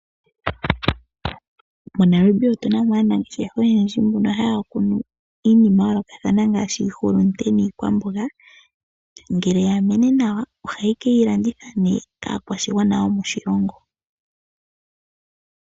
Mo Namibia otuna mo aanangeshefa oyendji mbono haya kunu iinima ya yoolokathana ngaashi iihulunde niikwamboga ngele ya mene nawa ohaye keyi landitha nee kaakwashigwana yomo shilongo.